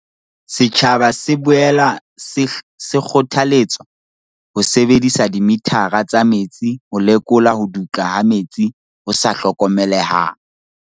Setjhaba se boela se kgothaletswa ho sebedisa dimithara tsa metsi ho lekola ho dutla ha metsi ho sa hlokomelehang.